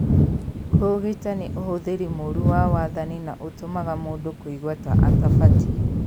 kũũgita nĩ ũhũthĩri mũru wa wathani na ũtũmaga mũndũ kũigua ta atabatie.